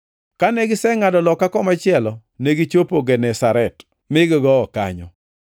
Kane gisengʼado loka komachielo negichopo Genesaret, mi gigowo kanyo.